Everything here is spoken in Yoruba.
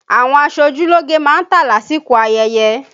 Àwọn aṣojúlógé má ń tà lásìkò ayẹyẹ